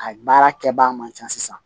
A baara kɛbaga man ca sisan